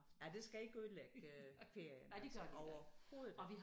Ja det skal ikke ødelægge ferien altså overhovedet